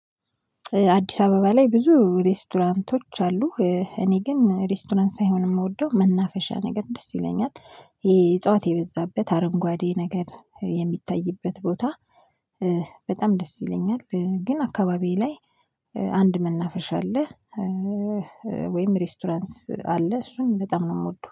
አዲስ አበባ ላይ ብዙ ሬስቶራንቶች አሉ እኔ ግን ሬስቶራንት ሳይሆን የምወደው መናፈሻ ነገር ደስ ይለኛል። የ እጽዋት የበዛበት አረንጓዴ ነገር የሚታይበት ቦታ። በጣም ደስ ይለኛል፣ ግን አካባቢዬ ላይ አንድ መናፍረሻ አለ። ወይም ሬስቶራንስ አለ እሱን በጣም ነው የምወደው